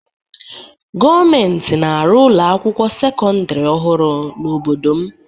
Gọọmentị na-arụ ụlọ akwụkwọ sekọndịrị ọhụrụ n'obodo m.